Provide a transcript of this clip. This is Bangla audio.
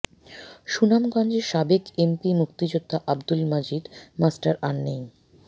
সুনামগঞ্জের সাবেক এমপি মুক্তিযোদ্ধা আবদুল মজিদ মাস্টার আর নেই